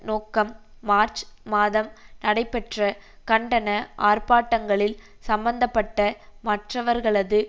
நோக்கம் மார்ச் மாதம் நடைபெற்ற கண்டன ஆர்ப்பாட்டங்களில் சம்பந்த பட்ட மற்றவர்களது